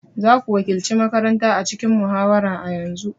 Za ku wakilci makaranta a cikin muhawara a yanzu!